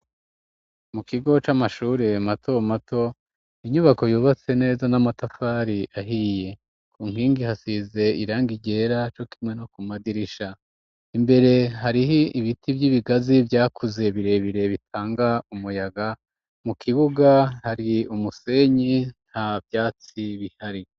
Mu kigo c'amashure mato mato inyubako yubatse neza n'amatafari ahiye, ku nkingi hasize iranga ryera co kimwe no ku madirisha ,imbere harih'ibiti vy'ibigazi vyakuze birebire bitanga umuyaga, mu kibuga hari umusenyi nta vyatsi bihari.